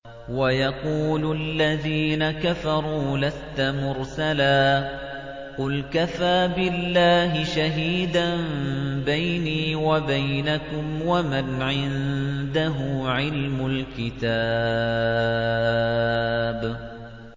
وَيَقُولُ الَّذِينَ كَفَرُوا لَسْتَ مُرْسَلًا ۚ قُلْ كَفَىٰ بِاللَّهِ شَهِيدًا بَيْنِي وَبَيْنَكُمْ وَمَنْ عِندَهُ عِلْمُ الْكِتَابِ